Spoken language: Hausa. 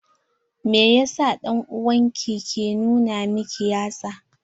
Mai yasa dan'uwan ki ke nuna miki yatsa?